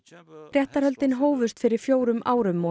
réttarhöldin hófust fyrir fjórum árum og